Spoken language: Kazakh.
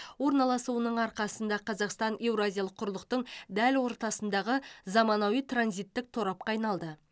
орналасуының арқасында қазақстан еуразиялық құрлықтың дәл ортасындағы заманауи транзиттік торапқа айналды